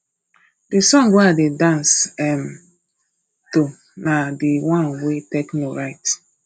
the song wey i dey dance um to na the one wey tekno write